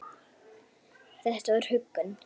Þetta var huggun.